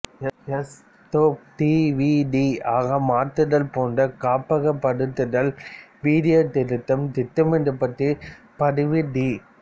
S டேப்பை D V D ஆக மாற்றுதல் போன்று காப்பகப்படுத்தல் வீடியோ திருத்தம் திட்டமிடப்பட்ட பதிவு டி